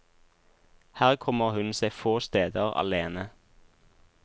Her kommer hun seg få steder alene.